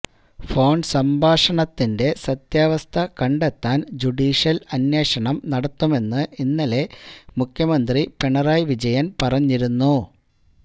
phone സംഭാഷണത്തിന്റെ സത്യാവസ്ഥ കണ്ടെത്താന് ജുഡീഷ്യല് അന്വേഷണം നടത്തുമെന്ന് ഇന്നലെ മുഖ്യമന്ത്രി പിണറായി വിജയന് പറഞ്ഞിരുന്നു